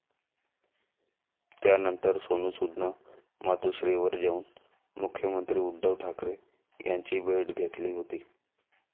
त्यानंतर सोनु सूदनं मातोश्रीवर जाऊन मुख्यमंत्री उद्धव ठाकरे यांची भेट घेतली होती.